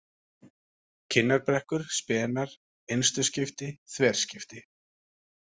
Kinnarbrekkur, Spenar, Innstuskipti, Þverskipti